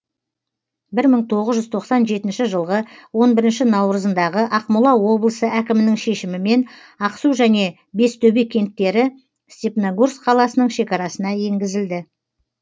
бір мың тоғыз жүз тоқсан жетінші жылғы он бірінші наурызындағы ақмола облысы әкімінің шешімімен ақсу және бестөбе кенттері степногорск қаласының шекарасына еңгізілді